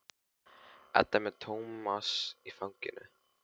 Edda er með Tómas í fanginu.